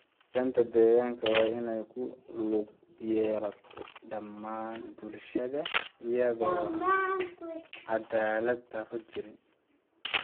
Ilaalinta deegaanka waa in ay ku lug yeelato dhammaan bulshada iyada oo aan caddaalad-darro jirin.